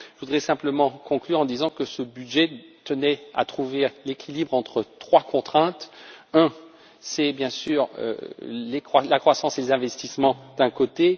Je voudrais simplement conclure en disant que ce budget tenait à trouver l'équilibre entre trois contraintes la première, c'est bien sûr la croissance et les investissements d'un côté